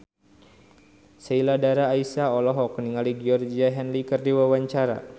Sheila Dara Aisha olohok ningali Georgie Henley keur diwawancara